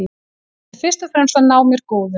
Ég ætla fyrst og fremst að ná mér góðum.